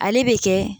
Ale bɛ kɛ